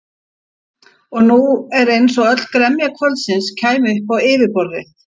En nú var eins og öll gremja kvöldsins kæmi upp á yfirborðið.